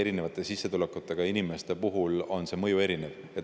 Erineva sissetulekuga inimestele on see mõju erinev.